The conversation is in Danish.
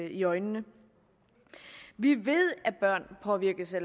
i øjnene vi ved at børn påvirkes af